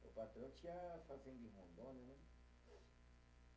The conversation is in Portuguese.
O patrão tinha fazenda em Rondônia, né?